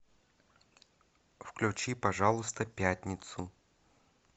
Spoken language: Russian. включи пожалуйста пятницу